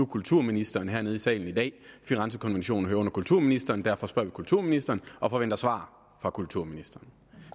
kulturministeren hernede i salen i dag firenzekonventionen hører under kulturministeren og derfor spørger vi kulturministeren og forventer svar fra kulturministeren